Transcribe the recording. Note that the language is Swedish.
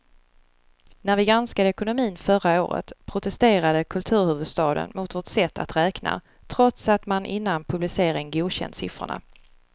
När vi granskade ekonomin förra året protesterade kulturhuvudstaden mot vårt sätt att räkna, trots att man innan publicering godkänt siffrorna.